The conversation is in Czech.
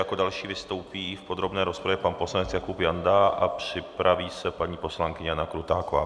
Jako další vystoupí v podrobné rozpravě pan poslanec Jakub Janda a připraví se paní poslankyně Jana Krutáková.